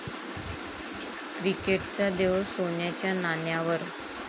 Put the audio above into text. क्रिकेटचा देव सोन्याच्या नाण्यावर!